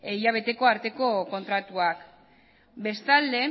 hilabete arteko kontratuak bestalde